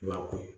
I b'a ko